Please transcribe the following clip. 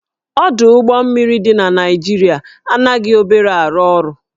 Ọdụ ụgbọ mmiri dị na Naịjirịa anaghị obere arụ ọrụ